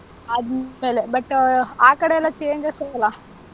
ಆದ್ಮೇಲೆ. but ಆಹ್ ಆ ಕಡೆಯೆಲ್ಲಾ changes ಇರಲ್ಲ.